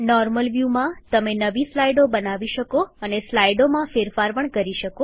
normal વ્યુમાં તમે નવી સ્લાઈડો બનાવી શકો અને સ્લાઈડોમાં ફેરફાર પણ કરી શકો